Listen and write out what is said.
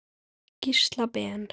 Gísla Ben.